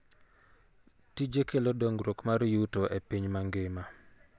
Tije kelo dongruok mar yuto e piny mangima .